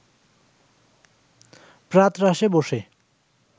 প্রাতরাশে বসে